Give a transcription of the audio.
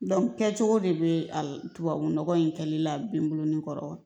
kɛcogo de be a la tubabu nɔgɔ in kɛli la bin bo ni kɔrɔ